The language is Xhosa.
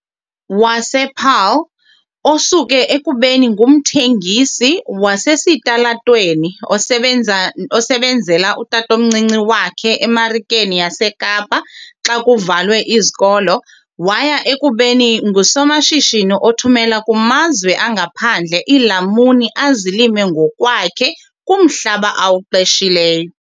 wasePaarl, osuke ekubeni ngumthengisi wasesitalatweni osebenzela utatomncinci wakhe eMarikeni yaseKapa xa kuvalwe izikolo waya ekubeni ngusomashishini othumela kumazwe angaphandle iilamuni azilima ngokwakhe kumhlaba awuqeshileyo.